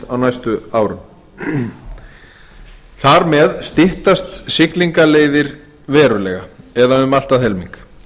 á næstu árum þar með styttast siglingaleiðir verulega eða um allt að helming